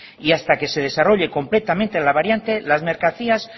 y hasta que se desarrolle completamente la variante las mercancías